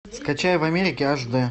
скачай в америке аш дэ